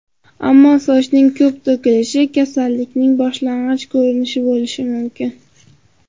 Ammo sochning ko‘p to‘kilishi kasallikning boshlang‘ich ko‘rinishi bo‘lishi mumkin.